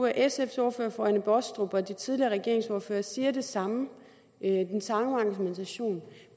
sfs ordfører fru anne baastrup og de tidligere regeringsordførere siger det samme har den samme argumentation